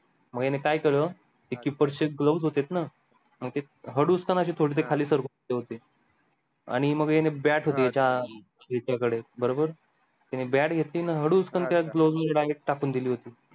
मग ह्याने काय केला keeper चे gloves होते ना मग ते हाडुच का ना ते खाली सरकवून ठेवले होते आणि मग ह्याने bat होती ह्याचा एका कडे बरोबर त्याने bat घेतली आणि हडुचकन त्या gloves मध्ये direct टाकून दिला होता